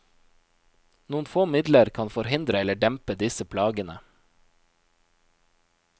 Noen få midler kan forhindre eller dempe disse plagene.